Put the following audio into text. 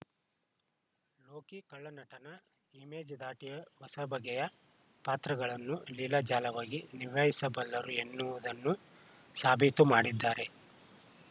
ಲೋಕಿ ಖಳನಟನ ಇಮೇಜ್‌ ದಾಟಿ ಹೊಸ ಬಗೆಯ ಪಾತ್ರಗಳನ್ನು ಲೀಲಾ ಜಾಲವಾಗಿ ನಿಭಾಯಿಸಬಲ್ಲರು ಎನ್ನುವುದನ್ನು ಸಾಬೀತು ಮಾಡಿದ್ದಾರೆ